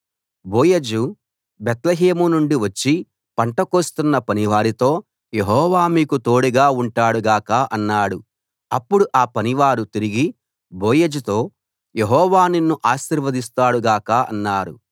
బోయజు బేత్లెహేము నుండి వచ్చి పంట కోస్తున్న పనివారితో యెహోవా మీకు తోడుగా ఉంటాడు గాక అన్నాడు అప్పుడు ఆ పనివారు తిరిగి బోయజుతో యెహోవా నిన్ను ఆశీర్వదిస్తాడు గాక అన్నారు